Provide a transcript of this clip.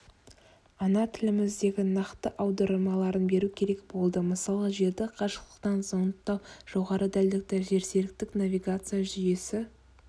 ана тіліміздегі нақты аудармаларын беру керек болды мысалы жерді қашықтықтан зондтау жоғарыдәлдікті жерсеріктік навигация жүйесі